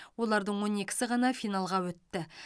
олардың он екісі ғана финалға өтті